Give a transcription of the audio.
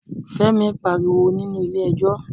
Fẹ́mi pariwo nínú ilé ẹjọ́